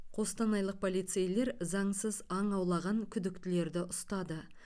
қостанайлық полицейлер заңсыз аң аулаған күдіктілерді ұстады